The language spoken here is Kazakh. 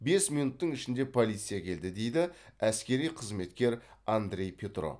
бес минуттың ішінде полиция келді дейді әскери қызметкер андрей петров